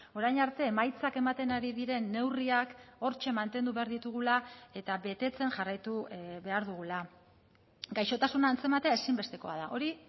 orain arte emaitzak ematen ari diren neurriak hortxe mantendu behar ditugula eta betetzen jarraitu behar dugula gaixotasuna antzematea ezinbestekoa da hori